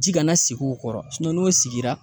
Ji kana sigi u kɔrɔ n'o sigira